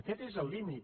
aquest és el límit